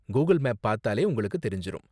Google மேப்ல பாத்தாலே உங்களுக்கு தெரிஞ்சுரும்.